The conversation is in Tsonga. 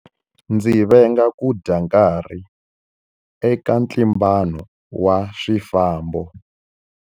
Ndzi venga ku dya nkarhi eka ntlimbano wa swifambo.